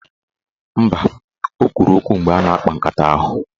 Mba, o kwuru okwu mgbe a na-akpa nkata ahụ.